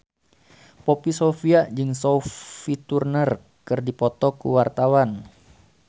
Poppy Sovia jeung Sophie Turner keur dipoto ku wartawan